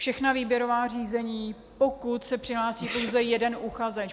... všechna výběrová řízení, pokud se přihlásí pouze jeden uchazeč.